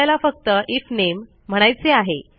आपल्याला फक्त आयएफ नामे म्हणायचे आहे